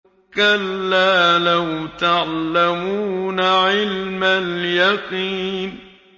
كَلَّا لَوْ تَعْلَمُونَ عِلْمَ الْيَقِينِ